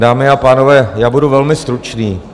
Dámy a pánové, já budu velmi stručný.